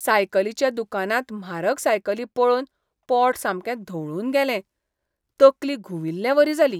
सायकलीच्या दुकानांत म्हारग सायकली पळोवन पोट सामकें धवळून गेलें, तकली घुंविल्लें वरी जाली.